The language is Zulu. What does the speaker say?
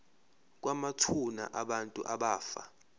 kwamathuna abantu abafa